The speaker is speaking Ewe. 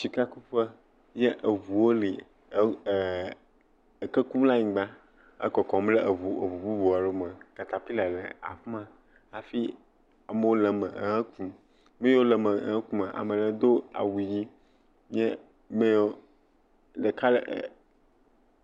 Sikakuƒe ye eŋuawo le ɛkɛ kum le anyigba ɛkɔkɔm ɖe eŋu eŋu bubu aɖewo me. Katapila le afi ma hafi amewo le wo me ehe kum. Nu yiwo le me ehe kumaa ame ɖewo do awu ʋi ye me yi wo ɖeka le ɛɛ